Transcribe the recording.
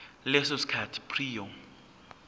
leso sikhathi prior